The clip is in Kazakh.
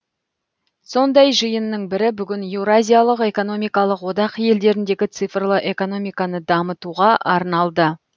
сондай жиынның бірі бүгін еуразиялық экономикалық одақ елдеріндегі цифрлы экономиканы дамытуға арналды